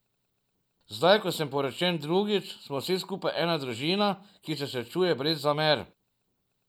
Zdaj ko sem poročen drugič, smo vsi skupaj ena družina, ki se srečuje brez zamer.